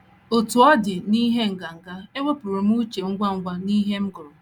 Otú ọ dị, n’ihi nganga, ewepụrụ m uche ngwa ngwa n’ihe m gụrụ.